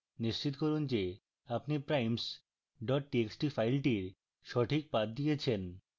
নিশ্চিত করুন যে আপনি primes txt file সঠিক path দিয়েছেন